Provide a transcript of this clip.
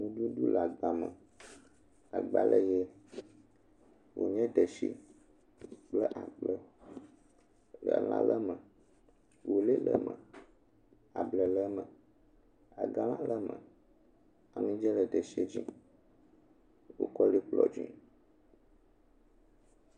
Nuɖuɖu le agbame, Agba le ʋee. Welédetsi kpl akplẽ. Elã le eme, welé le eme, ablɛ le eme, agalã le eme. Amidzẽ le detsiɛ dzi. Wokɔ lí kplɔ dzi